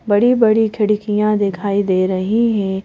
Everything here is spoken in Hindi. बड़ी बड़ी खिड़कियां दिखाई दे रही है।